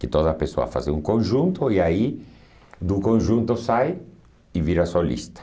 Que toda pessoa faz um conjunto e aí do conjunto sai e vira solista.